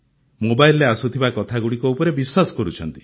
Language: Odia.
ମୋବାଇଲରେ ଆସୁଥିବା କଥାଗୁଡ଼ିକ ଉପରେ ବିଶ୍ୱାସ କରୁଛନ୍ତି